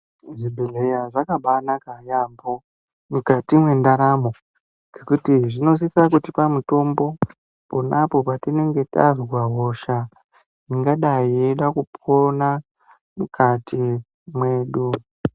Zvibhedhleya zvakabaanaka yaampho mukati mwendaramo, ngekuti zvinosisa kutipa mitombo pona apo patinenge tazwa hosha, ingadai yeida kupona mukati mwedu.